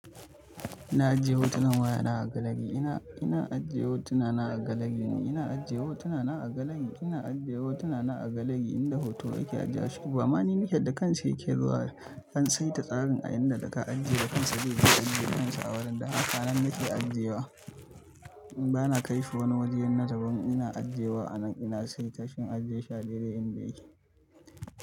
Ina ajiye hotunan wayana a gallery ina ina ajiye hotuna na a gallery ne ina ajiye hotuna na a gallery ina ajiye hotuna na a gallery inda hoto yake ajiye ashe bama ni nake da kanshi yake zuwa nan. An saita tsarin a inda da ka ajiye da kansa zai iya ajiye kansa a wurin da haka nan nake ajiye wa. Bana kaishi wani wajena daban ina ajiye wa a nan ina saitashi in ajiye shi a dai dai inda yake.